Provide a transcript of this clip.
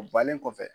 O bannen kɔfɛ